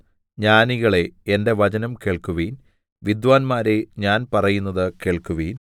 ജ്ഞാനികളേ എന്റെ വചനം കേൾക്കുവിൻ വിദ്വാന്മാരേ ഞാൻ പറയുന്നത് കേൾക്കുവിൻ